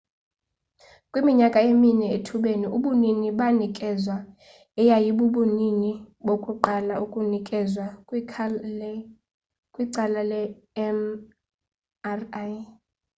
kwiminyaka emine ethubeni ubunini banikezwa eyayibubunini bokuqala ukunikezwa kwical le mri